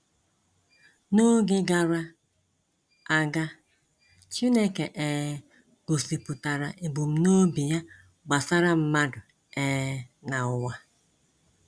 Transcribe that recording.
N’oge gara aga, Chineke um gosipụtara ebumnobi ya gbasara mmadụ um na ụwa.